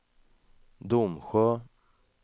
Domsjö